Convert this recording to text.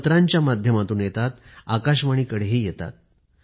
पत्रांच्या माध्यमातून येतात आकाशवाणीकडे येतात